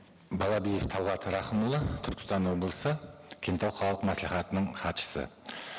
балабиев талғат рақымұлы түркістан облысы кеңтау қалалық мәслихатының хатшысы